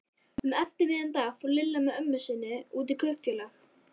Um eftirmiðdaginn fór Lilla með ömmu sinni út í Kaupfélag.